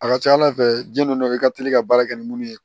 A ka ca ala fɛ ji donna i ka teli ka baara kɛ ni minnu ye